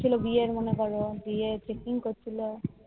ছেলে বিয়ের ননদ এলো বিয়ের fixing করছিলো